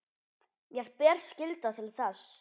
Mér ber skylda til þess.